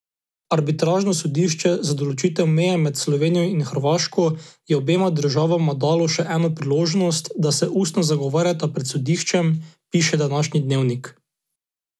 Arbitražno sodišče za določitev meje med Slovenijo in Hrvaško je obema državama dalo še eno priložnost, da se ustno zagovarjata pred sodiščem, piše današnji Dnevnik.